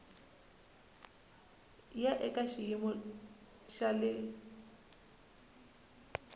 ya eka xiyimo xa le